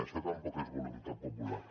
això tampoc és voluntat popular